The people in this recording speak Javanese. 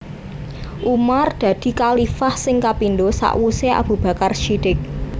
Umar dadi khalifah sing kapindo sakwuse Abu Bakar Shidiq